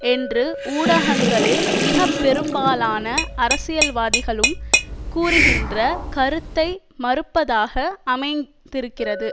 என்று ஊடகங்களில் மிக பெரும்பாலான அரசியல்வாதிகளும் கூறுகின்ற கருத்தை மறுப்பதாக அமைந்திருக்கிறது